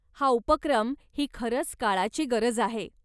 हा उपक्रम ही खरंच काळाची गरज आहे.